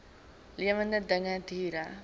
lewende dinge diere